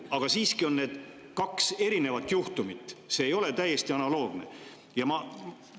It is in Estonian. Aga siiski on need kaks erinevat juhtumit, see ei ole täiesti analoogne.